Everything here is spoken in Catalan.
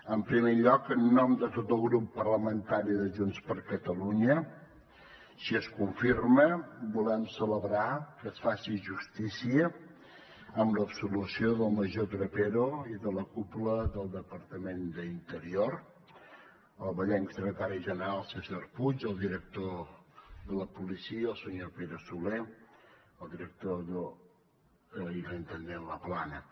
en primer lloc en nom de tot el grup parlamentari de junts per catalunya si es confirma volem celebrar que es faci justícia amb l’absolució del major trapero i de la cúpula del departament d’interior el vallenc secretari general césar puig el director de la policia el senyor pere soler i la intendent laplana